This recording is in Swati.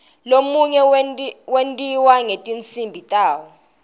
lomunye wentiwa ngetinsimbi tawo